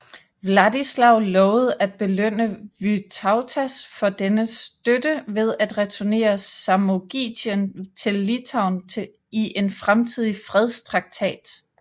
Vladislav lovede at belønne Vytautas for dennes støtte ved at returnere Samogitien til Litauen i en fremtidig fredstraktat